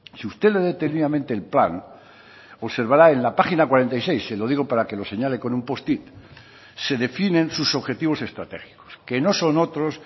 si usted lee detenidamente el plan observará en la página cuarenta y seis se lo digo para que lo señale con un post it se definen sus objetivos estratégicos que no son otros